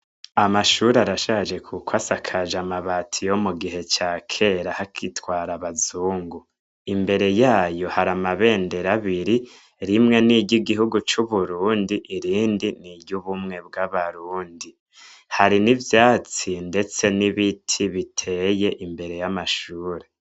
Amashure arashaje kuko asakaje amabati yo mu gihe ca kera, hagitwara abazungu. Imbere y'ayo ,hari amabendera abiri: rimwe n'iryo igihugu c'Uburundi, irindi n'iryo ubumwe bw'Abarundi. Hari n'ivyatsi ndetse n'ibiti biteye imbere y'amashure.